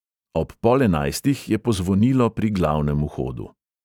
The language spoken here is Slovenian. Ob pol enajstih je pozvonilo pri glavnem vhodu.